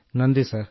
നന്ദി സർ